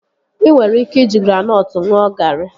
Ị nwere ike iji granọtụ ṅụọ garị